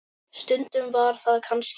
Stundum var það kannski svo.